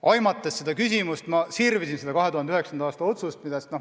Aimates seda küsimust, ma sirvisin seda 2009. aasta otsust.